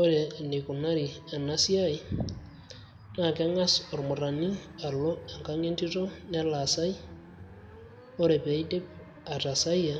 ore eneikunari ena siai naa keng'as ormurrani alo enkang entito nelo asay ore peeidip atasayia